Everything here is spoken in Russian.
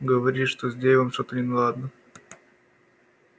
говоришь что с дейвом что-то неладно